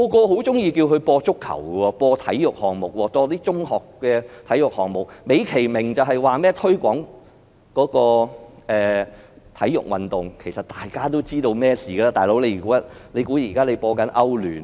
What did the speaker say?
很多人都喜歡港台播放足球和中學體育項目，美其名是推廣體育運動，其實大家都知道發生了甚麼事情，他們以為現在是播放歐洲聯賽嗎？